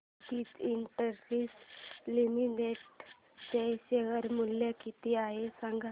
Suditi industries limited चे share मूल्य किती आहे सांगा